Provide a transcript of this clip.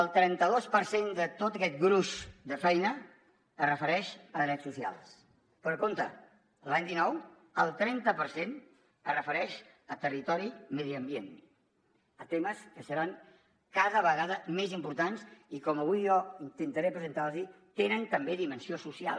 el trenta dos per cent de tot aquest gruix de feina es refereix a drets socials però compte l’any dinou el trenta per cent es refereix al territori i medi ambient a temes que seran cada vegada més importants i com avui jo intentaré presentar los tenen també dimensió social